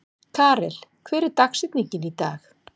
Karel, hver er dagsetningin í dag?